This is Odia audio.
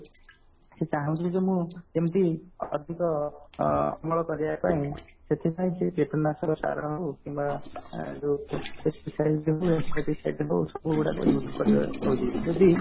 ସିଏ ଚାହୁଁଛି ଯେ ମୁଁ କେମିତି ଅଧିକ ଅମଳ କରିବା ପାଇଁ ସେଥିପାଇଁ ସେ କୀଟନାଶକ ସାର କୁ କିମ୍ବା ଯଦି